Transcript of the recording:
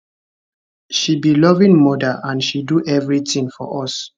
she be loving mother and she do everything for us